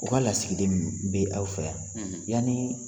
U k'a lasigiden minnu bɛ aw fɛ yan